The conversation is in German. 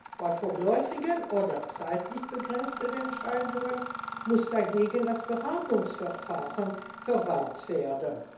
Bei vorläufigen oder zeitlich begrenzten Entscheidungen muss dagegen das Beratungsverfahren verwendet werden.